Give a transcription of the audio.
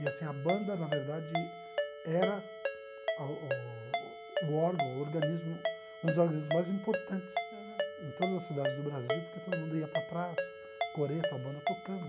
E assim a banda, na verdade, era a o o o órgão, o organismo, um dos organismos mais importantes. Aham. Em todas as cidades do Brasil, porque todo mundo ia para a praça, coreto, a banda tocando.